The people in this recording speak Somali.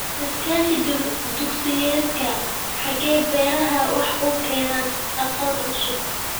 Iskaashi dugsiyeedka xagga beeraha waxa uu keenayaa aqoon cusub.